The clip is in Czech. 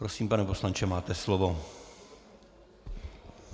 Prosím, pane poslanče, máte slovo.